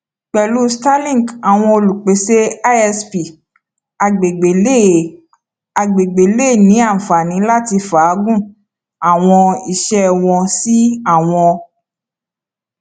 pẹlu starlink awọn olupese isp agbegbe le agbegbe le ni anfani lati faagun awọn iṣẹ wọn si awọn